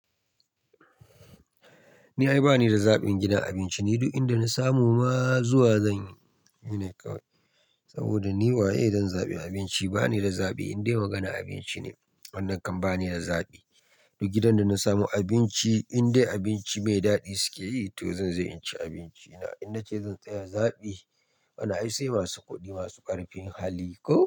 Ni ai ba ni da zaɓin gidan abinci, ni duk inda na samu ma zuwa zan yi shine kawai. Saboda ni waye zan zaɓi abinci? Ba ni da zaɓi, in dai maganar abinci ne wannan kam ba ni da zaɓi. Duk gidan da na samu abinci, in dai abinci mai daɗi suke yi to zan je in ci abinci na. In na ce zan tsaya zaɓi, wanan ai sai masu kuɗi masu ƙarfin hali koh.